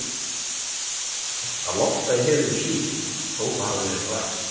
Sýnir þetta, að loftslagið hefur verið hlýtt, þótt það hafi verið rakt.